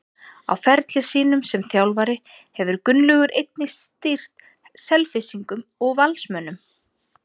Á ferli sínum sem þjálfari hefur Gunnlaugur einnig stýrt Selfyssingum og Valsmönnum.